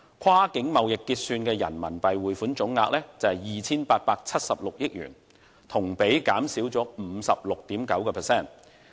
跨境貿易結算的人民幣匯款總額為 2,876 億元，同比減少 56.9%。